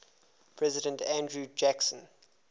president andrew jackson